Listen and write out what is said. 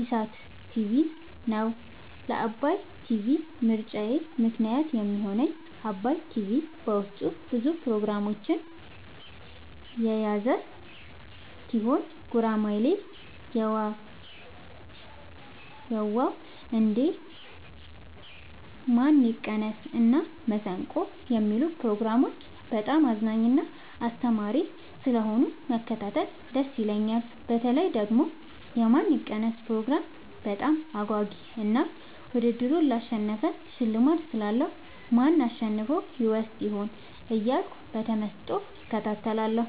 ኢሣት ቲቪን ነዉ። ለዓባይ ቲቪ ምርጫየ ምክንያት የሚሆነኝ ዓባይ ቲቪ በዉስጡ ብዙ ፕሮግራሞችን የያዘ ቲሆን ጉራማይሌ የዋ ዉ እንዴ ማን ይቀነስ እና መሠንቆ የሚሉትን ፕሮግራሞች በጣም አዝናኝና አስተማሪ ስለሆኑ መከታተል ደስ ይለኛል። በተለይ ደግሞ የማን ይቀነስ ፕሮግራም በጣም አጓጊ እና ዉድድሩን ላሸነፈ ሽልማት ስላለዉ ማን አሸንፎ ይወስድ ይሆን እያልኩ በተመስጦ እከታተላለሁ።